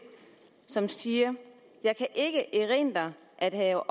som siger jeg kan ikke erindre at have